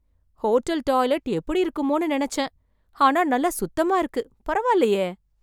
hotel toilet எப்படி இருக்குமோனு நெனச்சேன் ஆனா நல்லா சுத்தமா இருக்கு பரவாயில்லையே